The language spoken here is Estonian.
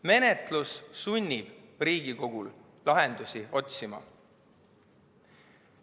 Menetlus sunnib Riigikogu lahendusi otsima.